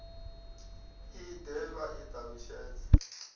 i de vha i talutshedze